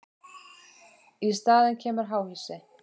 Í staðinn kemur háhýsi.